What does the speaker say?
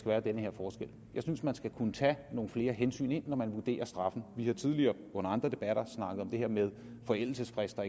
være den her forskel jeg synes at man skal kunne tage nogle flere hensyn ind når man vurderer straffen vi har tidligere under andre debatter snakket om det her med forældelsesfrister